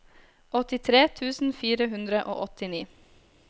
åttitre tusen fire hundre og åttini